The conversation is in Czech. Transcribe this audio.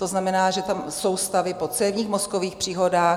To znamená, že tam jsou stavy po cévních mozkových příhodách.